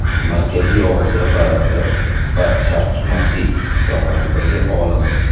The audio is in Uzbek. Markaziy Osiyo tarixi va sharqshunoslik sohasidagi olim.